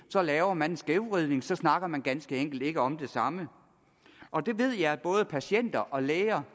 så laver man en skævvridning så snakker man ganske enkelt ikke om det samme og det ved jeg at både patienter og læger